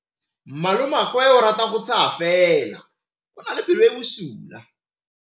Malomagwe o rata go tshega fela o na le pelo e e bosula.